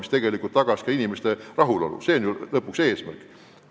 See tegelikult tagaks ka inimeste rahulolu, mis on ju lõpuks eesmärk.